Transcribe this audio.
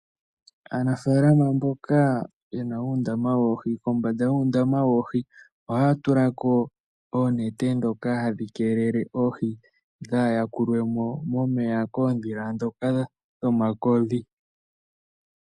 Aanafaalama mboka yena uundama woohi, kombanda yuundama woohi ohaya tula ko oonete ndhoka hadhi keelele oohi dhaa yakulwe mo momeya koondhila ndhoka dhomakodhi.